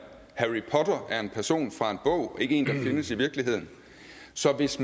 harry potter er en person fra en bog og ikke en der findes i virkeligheden så hvis